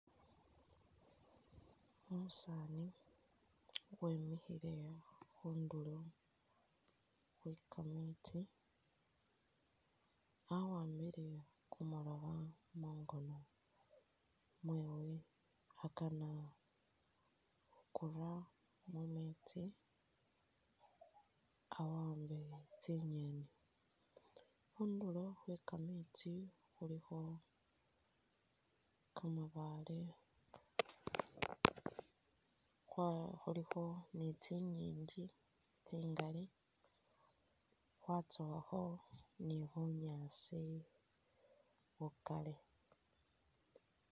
Umusani wemikhile khundulo khwe kametsi a wambile kumulobo mungono mwewe akana khukura mumesti awambe tsinyeni, khundulo khwe kametsi khulikho kambaale kwa- khulikho ni tsinyingi tsingali, khwatsowakho ni bunyaasi bukali